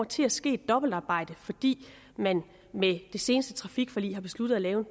til at ske et dobbeltarbejde fordi man med det seneste trafikforlig har besluttet at lave